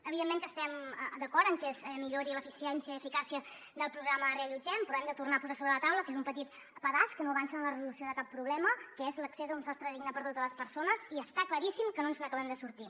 evidentment que estem d’acord en que es millori l’eficiència i eficàcia del programa reallotgem però hem de tornar a posar sobre la taula que és un petit pedaç que no avança en la resolució de cap problema que és l’accés a un sostre digne per a totes les persones i està claríssim que no ens n’acabem de sortir